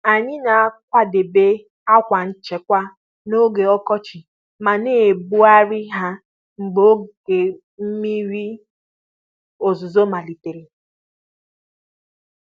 Anyị na-akwadebe àkwà nchekwa n'oge ọkọchị ma na-ebugharị ha mgbe oge mmiri ozuzo malitere.